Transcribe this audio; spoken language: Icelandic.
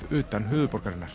utan höfuðborgarinnar